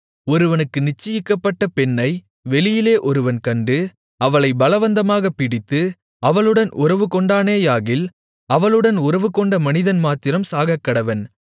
ஒருவனுக்கு நிச்சயிக்கப்பட்ட பெண்ணை வெளியிலே ஒருவன் கண்டு அவளைப் பலவந்தமாகப் பிடித்து அவளுடன் உறவுகொண்டானேயாகில் அவளுடன் உறவுகொண்ட மனிதன் மாத்திரம் சாகக்கடவன்